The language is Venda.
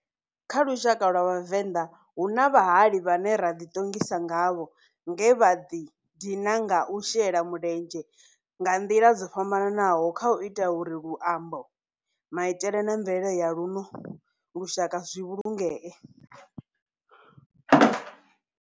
Kha lushaka lwa Vhavenda, hu na vhahali vhane ra di tongisa ngavho nge vha di dina nga u shela mulenzhe nga ndila dzo fhambananaho khau ita uri luambo, maitele na mvelele ya luno lushaka zwi vhulungee.